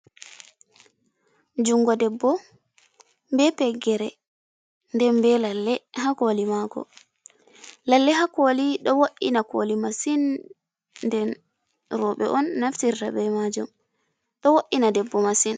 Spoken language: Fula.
Jungo ɗebbo be peggere nden be lalle ha koli mako, lalle ha koli do wo’’ina koli masin, nden roɓe on naftirta be majum, ɗo wo’’ina ɗebbo masin.